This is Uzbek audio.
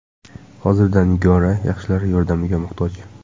Hozirda Nigora yaxshilar yordamiga muhtoj.